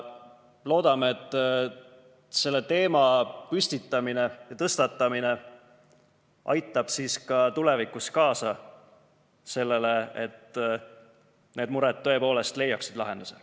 Loodame, et selle teema püstitamine ja tõstatamine aitab ka tulevikus kaasa sellele, et need mured leiaksid lahenduse.